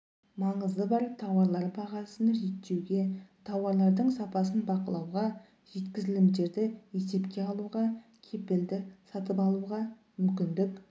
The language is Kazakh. маңызы бар тауарлар бағасын реттеуге тауарлардың сапасын бақылауға жеткізілімдерді есепке алуға кепілді сатып алуға мүмкіндік